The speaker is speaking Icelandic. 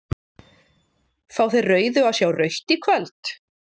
Fá þeir rauðu að sjá rautt í kvöld?